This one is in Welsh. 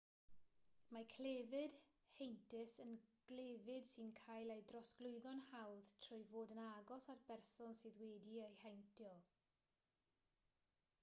mae clefyd heintus yn glefyd sy'n cael ei drosglwyddo'n hawdd trwy fod yn agos at berson sydd wedi'i heintio